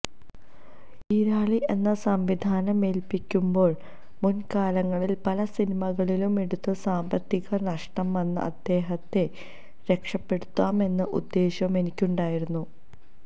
ഈരാളി എന്നെ സംവിധാനമേല്പ്പിക്കുമ്പോള് മുന്കാലങ്ങളില് പല സിനിമകളുമെടുത്ത് സാമ്പത്തികനഷ്ടം വന്ന അദ്ദേഹത്തെ രക്ഷപ്പെടുത്താമെന്ന ഉദ്ദേശ്യവും എനിക്കുണ്ടായിരുന്നു